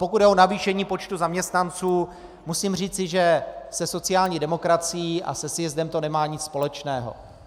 Pokud jde o navýšení počtu zaměstnanců, musím říci, že se sociální demokracií a se sjezdem to nemá nic společného.